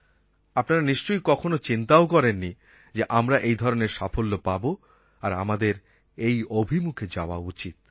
আপনারা নিশ্চয়ই কখনো চিন্তাও করেননি যে আমরা এই ধরনের সাফল্য পাব আর আমাদের এই অভিমুখে যাওয়া উচিৎ